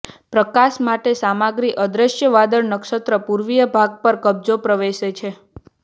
પ્રકાશ માટે સામગ્રી અદ્રશ્ય વાદળ નક્ષત્ર પૂર્વીય ભાગ પર કબજો પ્રવેશે છે